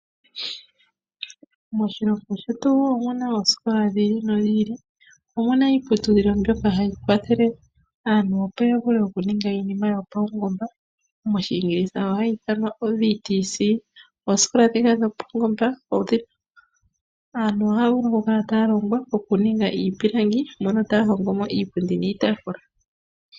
Moshilongo shetu omuna oosikola dhili nodhili . Omuna woo iiputudhilo yopombada ngaashi VTC mbyoka hayi longo aanasikola okundulukapo iinima yayoolokathana ngaashi iipilangi moka hamuzi iipundi oshowoo iitaafula.